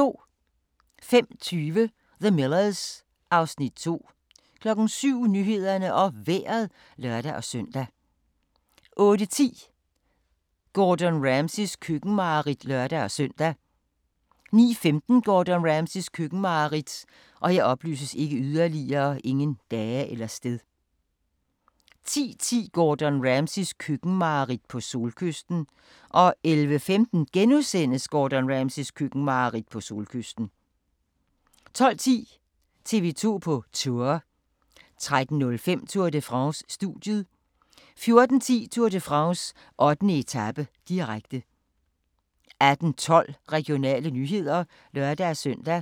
05:20: The Millers (Afs. 2) 07:00: Nyhederne og Vejret (lør-søn) 08:10: Gordon Ramsays køkkenmareridt (lør-søn) 09:15: Gordon Ramsays køkkenmareridt 10:10: Gordon Ramsays køkkenmareridt - på solkysten 11:15: Gordon Ramsays køkkenmareridt - på solkysten * 12:10: TV 2 på Tour 13:05: Tour de France: Studiet 14:10: Tour de France: 8. etape, direkte 18:12: Regionale nyheder (lør-søn)